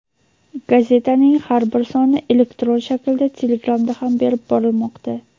Gazetaning har bir soni elektron shaklda Telegramda ham berib borilmoqda.